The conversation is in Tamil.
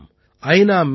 பாரதம் ஐ